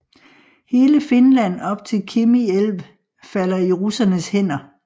Hele Finland op til Kemi älv falder i russernes hænder